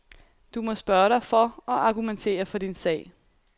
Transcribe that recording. Du må spørge dig for og argumentere for din sag.